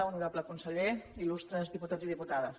honorable conseller il·lustres diputats i diputades